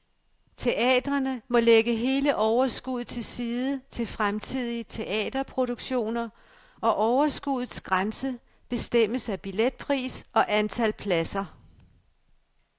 Teatrene må lægge hele overskuddet til side til fremtidige teaterproduktioner, og overskuddets grænse bestemmes af billetpris og antal pladser.